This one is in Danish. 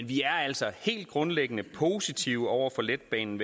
vi er altså helt grundlæggende positive over for letbanen